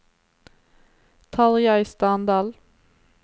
Tarjei Standal